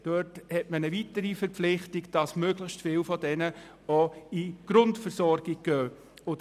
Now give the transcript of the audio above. Dort hat man eine weitere Verpflichtung, die besagt, dass möglichst viele davon in die Grundversorgung münden.